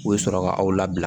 U bɛ sɔrɔ ka aw labila